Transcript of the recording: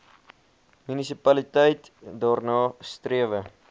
munisipaliteit daarna strewe